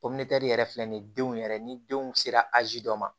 yɛrɛ filɛ nin ye denw yɛrɛ ni denw sera azi dɔ ma